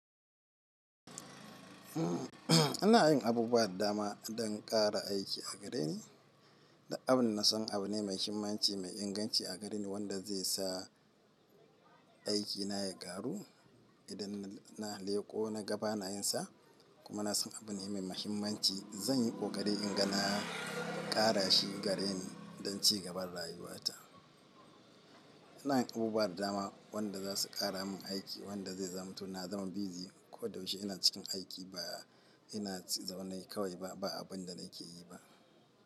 Ina yin abubuwa da dama don ƙara aiki a gare ni. Duk abin da na san abu ne mai muhimmanci, mai inganci a gare ni wanda zai sa aikina ya ƙaru idan na leƙo na ga bana yinsa. Kuma na san abune mai muhimmanci. Zan yi ƙoƙari in ga na ƙara shi gareni don ci gaban rayuwata. Ina yin abubuwa da dama wanda za su ƙara min aiki wanda zai zamto na zama busy ko da yaushe ina cikin aiki. Ba ina zaune kawai ba, ba abun da nake yi ba.